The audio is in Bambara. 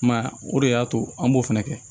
I m'a ye o de y'a to an b'o fɛnɛ kɛ